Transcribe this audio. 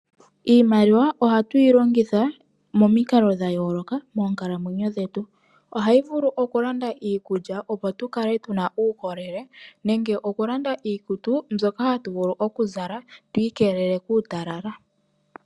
Iimaliwa ohatu yi longitha momikalo dha yooloka moonkalamwenyo dhetu. Ohayi vulu okulanda iikulya, opo tu kale tu na uukolele nenge okulanda iikutu mbyoka hatu vulu okuzala tu ikelele kuutalala.